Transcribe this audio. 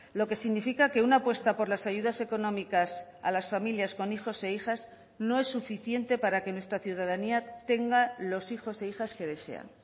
lo que significa que una apuesta por las ayudas económicas a las familias con hijos e hijas no es suficiente para que nuestra ciudadanía tenga los hijos e hijas que desean